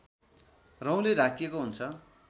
रौँले ढाकिएको हुन्छ